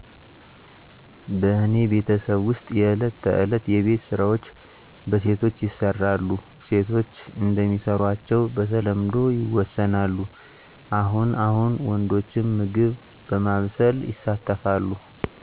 በእኔ ቤተሰብ ውስጥ የእለት ተዕለት የቤት ስራዎች በሴቶች ይሰራሉ። ሴቶች እንደሚሰሯቸው በተለምዶ ይወሰናሉ። አሁን አሁን ወንዶችም ምግብ በማብሰል ይሳተፍሉ።